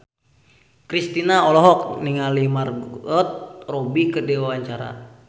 Kristina olohok ningali Margot Robbie keur diwawancara